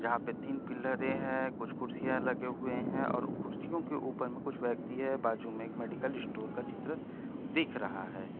जहाँ पे तीन पिलरे हे कुछ कुर्सिया लगे हुए है और कुछ कुर्सियों के ऊपर कुछ व्यक्ति है बाजु में एक मैडिकल स्टोर का चित्र दिख रहा है।